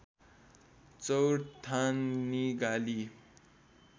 चौर ठान निगाली